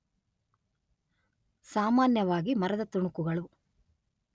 ಸಾಮಾನ್ಯವಾಗಿ ಮರದ ತುಣುಕುಗಳು